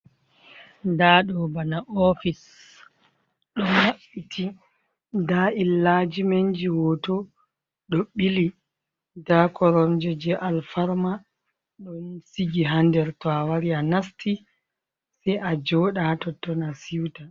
Nd ɗo bana ofic ɗo maɓɓiti, nda illajimenji hoto ɗo ɓili, nda koronje jee alfarma ɗon sigi haa nder to awari a nasti sai a joɗa hatotton a suita.